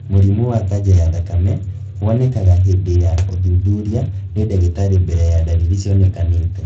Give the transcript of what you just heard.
Mũrimũ wa kanja ya thakame wonekaga hĩndĩ ya ũthuturia nĩ ndagĩtarĩ mbere ya ndariri cionekanĩte